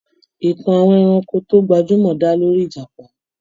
Ìtàn àwọn ẹranko tó gbajúmọ̀ dá lórí ìjàpá.